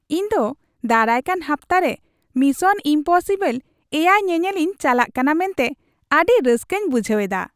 ᱤᱧ ᱫᱚ ᱫᱟᱨᱟᱭᱠᱟᱱ ᱦᱟᱯᱛᱟ ᱨᱮ ᱢᱤᱥᱚᱱ ᱤᱢᱯᱚᱥᱤᱵᱚᱞ ᱗ ᱧᱮᱧᱮᱞᱤᱧ ᱪᱟᱞᱟᱜ ᱠᱟᱱᱟ ᱢᱮᱱᱛᱮ ᱟᱹᱰᱤ ᱨᱟᱹᱥᱠᱟᱹᱧ ᱵᱩᱡᱷ ᱮᱫᱟ ᱾